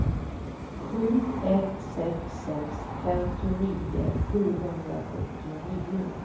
sju ett sex sex femtionio sjuhundrasjuttionio